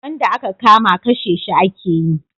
Wanda a ka kama kashe shi a ke yi